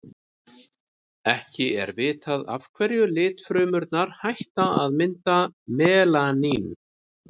ekki er vitað af hverju litfrumurnar hætta að mynda melanín